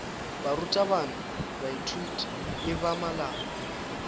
barutabana baithuti le ba malapa